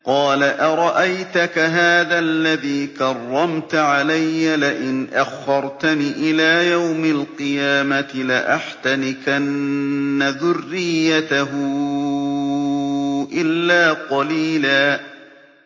قَالَ أَرَأَيْتَكَ هَٰذَا الَّذِي كَرَّمْتَ عَلَيَّ لَئِنْ أَخَّرْتَنِ إِلَىٰ يَوْمِ الْقِيَامَةِ لَأَحْتَنِكَنَّ ذُرِّيَّتَهُ إِلَّا قَلِيلًا